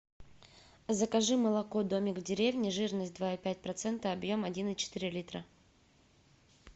закажи молоко домик в деревне жирность два и пять процента объем один и четыре литра